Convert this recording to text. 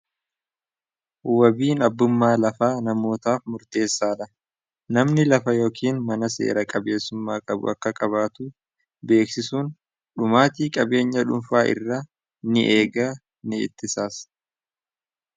Wabiin abbummaa lafaa namootaaf murteessaalha namni lafa yookiin mana seera qabeessummaa qabu akka qabaatu beeksisuun dhumaatii qabeenya dhunfaa irra ni eega ni ittisas.